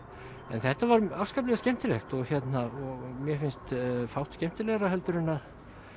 en þetta var afskaplega skemmtilegt og og mér finnst fátt skemmtilegra en að